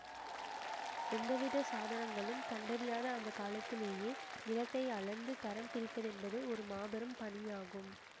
எந்தவித சாதனங்களும் கண்டறியாத அந்த காலத்திலேயே நிலத்தை அளந்து தரம் பிரிப்பதென்பது ஒரு மாபெரும் பணியாகும்